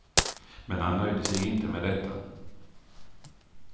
Men han nöjde sig inte med detta.